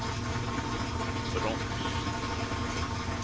broms